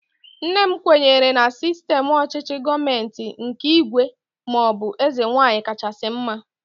Nne m kwenyere na sistem ọchịchị gọọmenti nke ígwè maọbụ eze nwaanyị kachasị mma